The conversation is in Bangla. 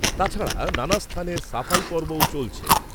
তাছাড়া নানা স্থানে সাফাই পর্বও চলছে।